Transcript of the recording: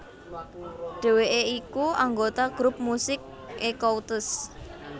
Dheweké iku anggota grup musik Ecoutez